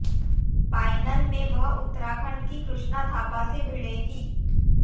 final में वह उत्तराखंड की कृष्णा थापा से भिड़ेंगी